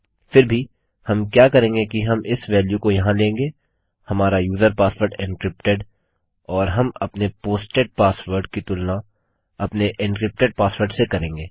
फिर भी हम क्या करेंगे कि हम इस वेल्यू को यहाँ लेंगे हमारा यूजर पासवर्ड एन्क्रिप्टेड और हम अपने पोस्टेड पासवर्ड की तुलना अपने एन्क्रिप्टेड पासवर्ड से करेंगे